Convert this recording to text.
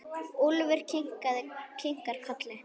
Úlfur kinkar kolli.